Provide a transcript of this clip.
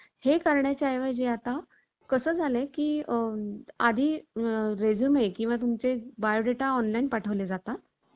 निस्पृही व स्पष्टवक्त्या अशा समकालीन ग्रंथकाराने, हे जुनं वर्णन केलं आहे. हे लक्षात घेतले असता शिवाजीच्या अंगी असलेल्या जाज्वल्य गुणांच्या यत्तेचा अंदाज